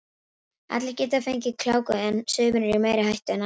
Allir geta fengið gláku en sumir eru í meiri hættu en aðrir.